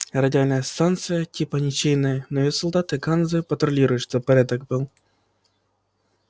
радиальная станция типа ничейная но её солдаты ганзы патрулируют чтобы порядок был